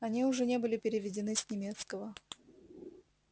они уже не были переведены с немецкого